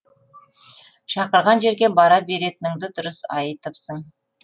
шақырған жерге бара беретініңді дұрыс айтыпсың